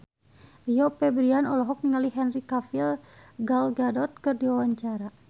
Rio Febrian olohok ningali Henry Cavill Gal Gadot keur diwawancara